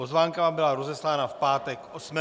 Pozvánka vám byla rozeslána v pátek 8. ledna.